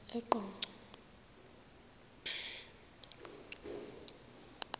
eqonco